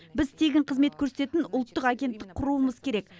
біз тегін қызмет көрсететін ұлттық агенттік құруымыз керек